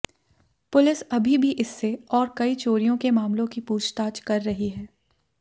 police अभी भी इससे और कई चोरियों के मामलों की पूछताछ कर रही है